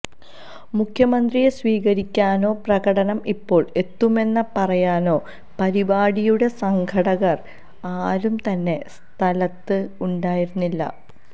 മുഖ്യമന്ത്രിയെ സ്വീകരിക്കാനോ പ്രകടനം ഇപ്പോള് എത്തുമെന്ന് പറയാനോ പരിപാടിയുടെ സംഘടകര് ആരും തന്നെ സ്ഥലത്ത് ഉണ്ടായിരുന്നില്ല